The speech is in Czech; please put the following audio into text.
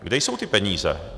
Kde jsou ty peníze?